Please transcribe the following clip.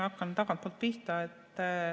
Hakkan tagantpoolt pihta.